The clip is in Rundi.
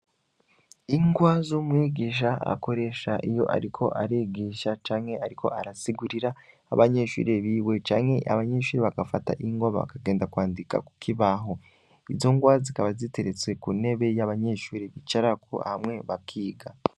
Ingwa z'umwigisha akoresha iyo ariko arigisha canke ariko arasigurira abanyeshuri biwe canke abanyeshuri bagafata ingwa bakagenda kwandika ku kibaho, izo ngwa zikaba ziteretse ku ntebe yabanyeshuri bicarako hamwe bakiga.